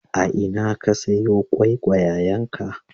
A ina ka sayo ƙwaiƙwayenka?